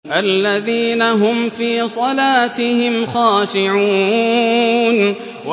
الَّذِينَ هُمْ فِي صَلَاتِهِمْ خَاشِعُونَ